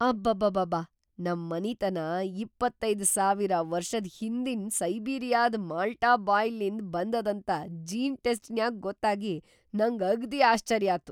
ಅಬಾಬಾಬಾ ನಂ ಮನಿತನಾ ಇಪ್ಪತೈದು ಸಾವಿರ ವರ್ಷದ್‌ ಹಿಂದಿನ್ ಸೈಬೀರಿಯಾದ್ ಮಾಲ್ಟಾ ಬಾಯ್‌ಲಿಂದ್‌ ಬಂದದಂತ ಜೀನ್‌ ಟೆಸ್ಟಿನ್ಯಾಗ್‌ ಗೊತ್ತಾಗಿ, ನಂಗ್ ಅಗ್ದಿ ಆಶ್ಚರ್ಯಾತು.